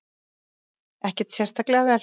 Ekkert sérstaklega vel.